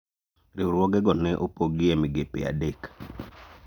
riwruoge go ne opogi e migepe adek